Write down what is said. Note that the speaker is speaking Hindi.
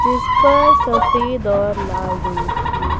जिसपर सफेद और लाल रंग की--